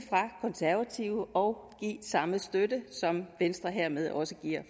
konservative og give samme støtte som venstre hermed også giver